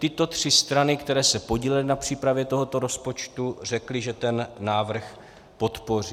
Tyto tři strany, které se podílely na přípravě tohoto rozpočtu, řekly, že ten návrh podpoří.